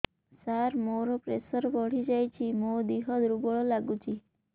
ସାର ମୋର ପ୍ରେସର ବଢ଼ିଯାଇଛି ମୋ ଦିହ ଦୁର୍ବଳ ଲାଗୁଚି